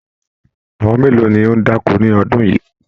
Àwọn mélòó ní o da'ko ní ọdún yìí?